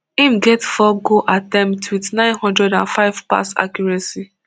im get four goal attempts wit nine hundred and five pass accuracy